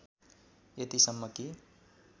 यतिसम्म कि